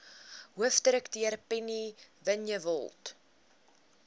hoofdirekteur penny vinjevold